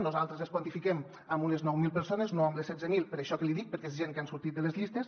nosaltres les quantifiquem en unes nou mil persones no en les setze mil per això que li dic perquè és gent que han sortit de les llistes